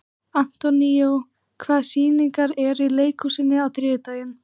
Antonio, hvaða sýningar eru í leikhúsinu á þriðjudaginn?